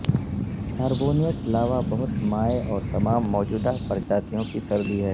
carbonate lava بہت مائع اور تمام موجودہ پرجاتیوں کی سردی ہے